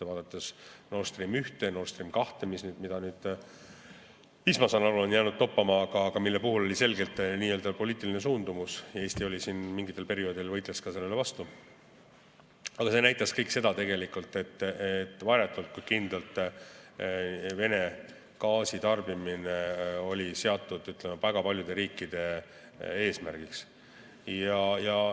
Vaadates Nord Stream 1 ja Nord Stream 2, mis nüüd, ma saan aru, on jäänud toppama, aga nende puhul oli selge poliitiline suundumus – Eesti mingitel perioodidel võitles ka sellele vastu –, et varjatult, kuid kindlalt oli Vene gaasi tarbimine seatud väga paljude riikide eesmärgiks.